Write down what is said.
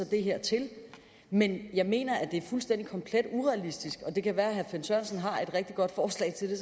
det her til men jeg mener det er fuldstændig urealistisk det kan være herre finn sørensen har et rigtig godt forslag til det